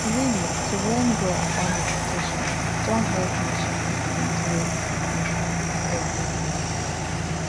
really to learn well about meditation don help me change d things wey i dey everyday